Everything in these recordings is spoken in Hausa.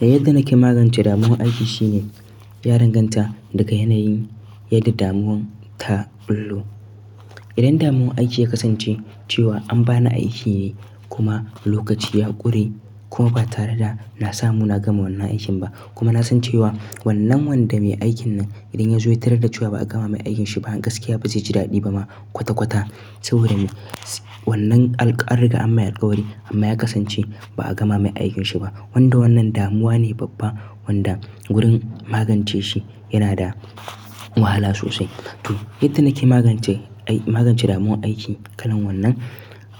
Yanda nake magance damuwan aiki shine, ya danganta daga yanayin yadda damuwan ta ɓullo idan damuwar aiki ya kasance cewa an bani aiki ne kuma lokaci ya ƙure kuma ba tare da na samu na gama wannan aikin ba. Kuma na san cewa wannan wanda mai aikin nan idan ya zo ya tarar da cewa ba a gama mai aikinsa ba, gaskiya ba zai ji daɗi ba ma kwata-kwata saboda wannan an riƙa an mai alƙawari amma ya kasance ba a gama mai aikinsa ba. Wanda wannan damuwa ne babba, wanda wurin magance shi yana da wahala sosai. To yadda nake magance, magance damuwar aiki kalan wannan,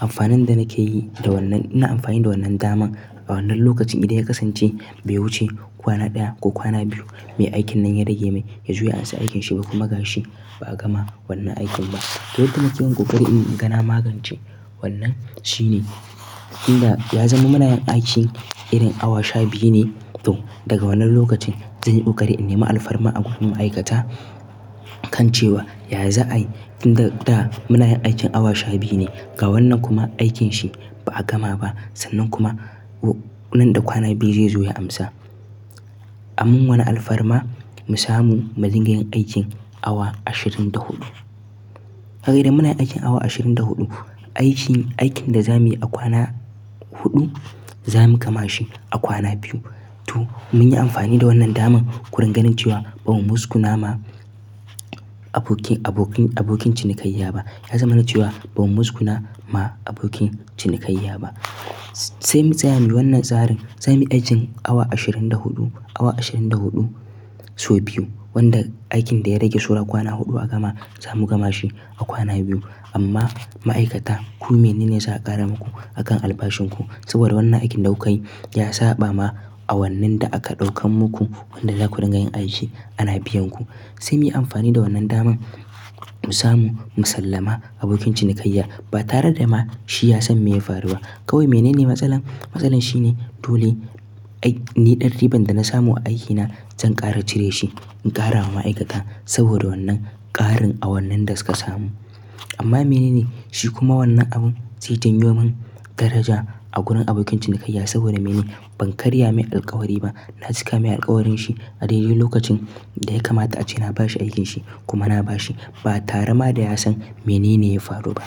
amfanin da nake yi da wannan, ina amfani da wannan daman a wannan lokacin idan ya kasance bai wuce kwana ɗaya ko kwana biyu, nayi aikin nan ya rage min, ya zo ya ansa aikinsa bai kuma gashi ba a gama wannan aikin ba. To yadda nakeyin koƙari in gana magance wannan shine, inda ya zama muna yin aiki irin awa sha biyu ne to daga wannan lokacin zanyi ƙoƙari in nema alfarma a gurin ma'aikata kan cewa, ya za'ai idan da, da muna yin aikin awa sha biyu ne ga wannan kuma aikin shi ba a gama ba sannan kuma nan da kwana biyu zai zo ya amsa. Amman wane alfarma mu samu muringayin aikin awa ashirin da huɗu. Sabida muna aiki awa ashirin da huɗu, aikin da zamuyi a kwana huɗu zamu gama shi a kwana biyu to mun yi amfani da wannan daman gurin ganin cewa ba mu muskuna ma abokin, cinikayya ba. Ya zama na cewa ba mu muskuna ma abokin cinikayya ba. Sai mu tsaya muyi wannan tsarin, za mu yi aikin awa ashirin da huɗu, awa ashirin da huɗu sau biyu wanda aikin da ya rage sauran kwana huɗu a gama za mu gama shi a kwana biyu. Amma ma'aikata ku mene ne za a ƙara muku a kan albashin ku, saboda wannan aikin da kuka yi ya saɓa ma a wannan da aka ɗaukan muku wanda za ku rangayen aiki ana biyan ku. Sai muyi amfani da wannan daman, mu samu musallama abokin cinikayya ba tare da ma shi ya san me ya faru ba. Kawai mene ne matsalar? Matsalar shine dole ai ni ɗan riban da na samu a aikina zan ƙara cire shi in ƙara ma ma'aikata, saboda wannan ƙarin a wannin da suka samu. Amma mene ne? Shi kuma wannan abun zai janyo min daraja a gurin abokin cinikayya saboda mene? Ban karya mai alƙawari ba. Na cika mai alƙawarinshi a dai dai lokacin da ya kamata ace na bashi aikinsa kuma na bashi ba tare ma da ya san mene ne ya faru ba.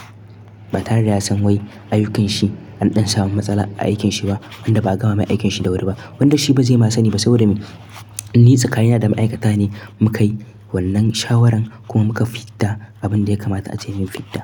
Ba tare da ya san wai ayyukan shi an ɗan samu matsala a aikinsa ba wanda ba a gama aikinsa da wuri ba, wanda shi ba zai ma sani ba saboda ni, ni tsakani da ma'aikata ne muka yi wannan shawarar kuma muka fidda abinda ya kamata ace mun fidda.